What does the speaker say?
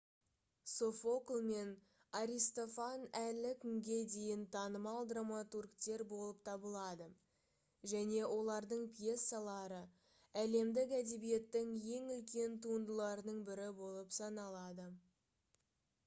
софокл мен аристофан әлі күнге дейін танымал драматургтер болып табылады және олардың пьесалары әлемдік әдебиеттің ең үлкен туындыларының бірі болып саналады